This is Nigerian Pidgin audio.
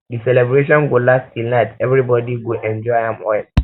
di celebration go last till night everybody um go enjoy am well